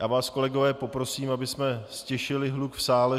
Já vás, kolegové, poprosím, abych ztišili hluk v sále.